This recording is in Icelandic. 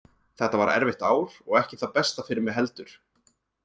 Þetta var erfitt ár og ekki það besta fyrir mig heldur.